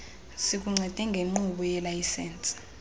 sikuncede ngenkqubo yelayisensi